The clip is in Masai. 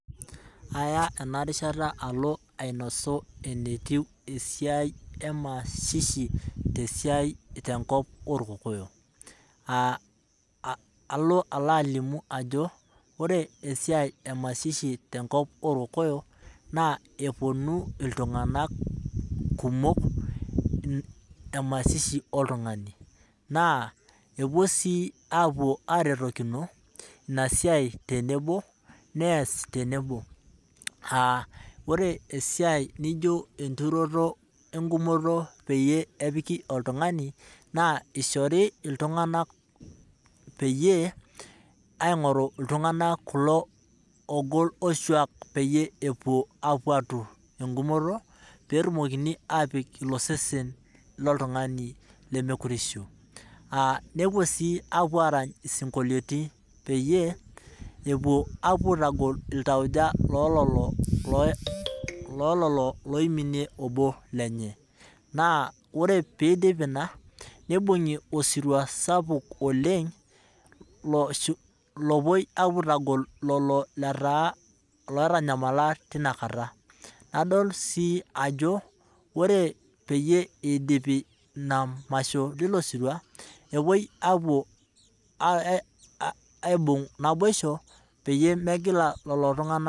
Aya enarishata alo alimu eneikununo esiai emasishi tenkop orkokoyok ,alo alimu ajo ore masishi tenkop orkokoyok naa eponu ltunganak kumok masishi oltungani naa epuo sii aretokino ina siai tenebo nees tenebo, ore esiai naijo enturoto engumoto peyie epiki oltungani, naa eishori iltunganak kulo oogol oshuak peyie epuo atur engumoto pee etumokini apik ilo sesen loltungani lemokure eishu. nepuo sii aarany isingolioitin peyie epuo aitagol iltauja loo lelo oiminie ilo obo lenye naa ore pee eidip ina ,neibungi osiruwa saapuk oleng opoi aitagol lelo lootanyamala tinakata ,nadol sii ajo ore peyie eidipi masho leilo sirua nepoi aibung naboisho peyie megila lelo tunganak tauja.